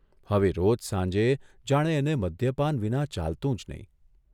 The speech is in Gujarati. હવે રોજ સાંજે જાણે એને મદ્યપાન વિના ચાલતું જ નહીં.